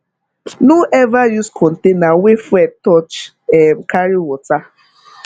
no ever use container wey fuel touch um carry water